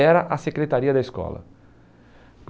Era a secretaria da escola.